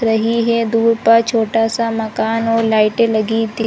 रही है दूर पर छोटा सा मकान और लाइटें लगी थी।